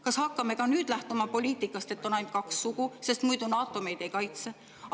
Kas hakkame ka nüüd lähtuma poliitikast, et on ainult kaks sugu, sest muidu NATO meid ei kaitse?